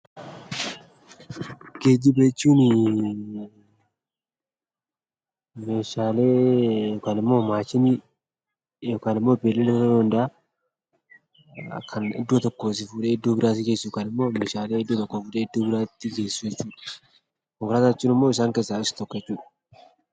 Geejjiba jechuun meeshaalee yookaan immoo maashinii yookaan immoo beeylada ta'uu danda'akan iddoo tokkoo si fuudhee iddoo biraa si geessu yookiin meeshaalee iddoo tokkoo fuudhee iddoo biraa geessu jechuudha. Konkolaataa jechuun immoo gosa geejjibaa keessaa isa tokko jechuudha.